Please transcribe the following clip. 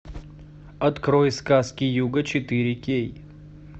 открой сказки юга четыре кей